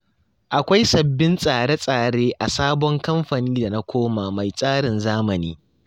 Akwai sabbabin tsare-tsare a sabon kamfani da na koma mai tsarin zamani.